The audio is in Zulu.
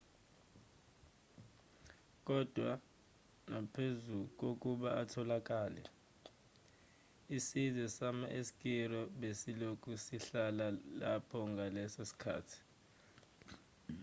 kodwa naphezu kokuba etholakele isizwe sama-eskiro besilokhu sihlala lapho ngaleso sikhathi